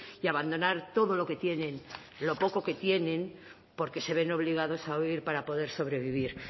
y abandonar todo lo que tienen lo poco que tienen porque se ven obligados a huir para poder sobrevivir